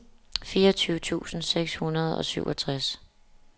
fireogtyve tusind seks hundrede og syvogtres